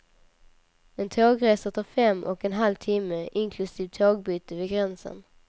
En tågresa tar fem och en halv timme, inklusive tågbyte vid gränsen.